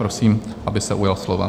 Prosím, aby se ujal slova.